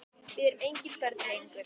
Við erum engin börn lengur.